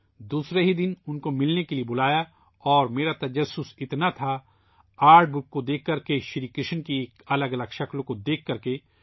دوسرے ہی دن اُن کو ملنے کے لئے بلایا اور میرا تجسس اتنا تھا ، آرٹ بُک کو دیکھ کر کے ، شری کرشن کی الگ الگ تصویروں کو دیکھ کر کے